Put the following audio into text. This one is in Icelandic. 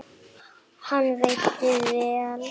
Hann veitti vel